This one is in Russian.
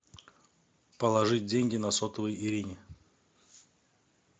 положить деньги на сотовый ирине